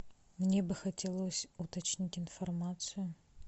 мне бы хотелось уточнить информацию